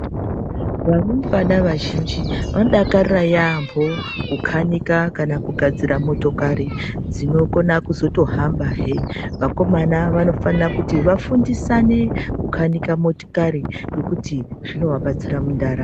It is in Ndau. Varumbwana vazhinji vanodakarira yaambo kukanika kana kugadzira motokari dzinokona kuzotohambahe. Vakomana vanofanira kuti vafundisane kukanika motokari ngekuti zvinoabatsira mundaramo.